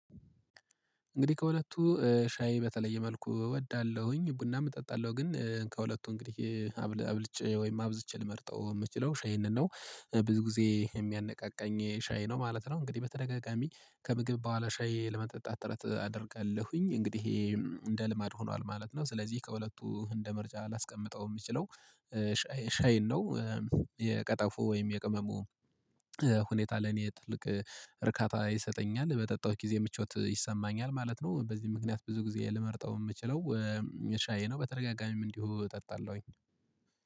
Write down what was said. እንግዲህ ከሁለቱ ሻይ በተለየ መልኩ እወዳለሁኝ ቡናም እጠጣለሁ ግን ከሁለቱ እንግዲህ አብልጬ ወይም አብዝቼ ልመርጠው ምችለው ሻይንን ነው። ብዙ ጊዜ የሚያነቃቃኝ ሻይ ነው ማለት ነው እንግዲህ በተደጋጋሚ ከምግብ በኋላ ሻይ ለመጠጣት ጥረት አደርጋለሁኝ እንግዲህ እንደ ልማድ ሆኗል ማለት ነው ስለዚህ ከሁለቱ እንደ ምርጫ ላስቀምጠው ምችለው ሻይን ነው። የቀጠፎ ወይም የቅመሙ ሁኔታ ለኔ ትልቅ እርካታ ይሰጠኛል በጠጣሁት ጊዜ ምቾት ይሰማኛል ማለት ነው በዚህ ምክንያት ብዙ ጊዜ ልመርጠው ምችለው ሻይ ነው በተደጋጋሚም እንዲሁ እጠጣለሁኝ